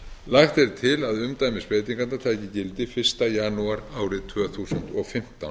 lagt er til að umdæmisbreytingarnar taki gildi fyrsta janúar árið tvö þúsund og fimmtán